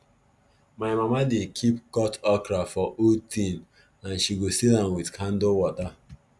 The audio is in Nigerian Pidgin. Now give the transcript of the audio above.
my mama dey keep cut okra for old tin and she go seal am with candle water